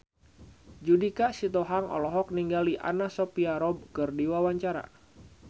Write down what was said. Judika Sitohang olohok ningali Anna Sophia Robb keur diwawancara